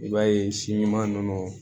I b'a ye si ɲuman nɔnɔ